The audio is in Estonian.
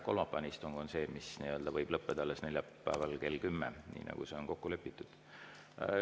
Kolmapäevane istung on see, mis võib lõppeda alles neljapäeval kell kümme, nii nagu on kokku lepitud.